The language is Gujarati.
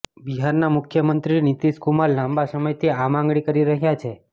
બિહારના મુખ્યમંત્રી નીતિશ કુમાર લાંબા સમયથી આ માંગણી કરી રહ્યા છે